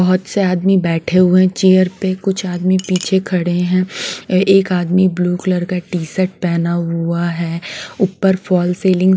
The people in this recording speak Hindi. बहुत से आदमी बैठे हुए हैं चेयर पे कुछ आदमी पीछे खड़े हैं एक आदमी ब्लू कलर का टी शर्ट पहना हुआ है ऊपर फॉल सेलिंग --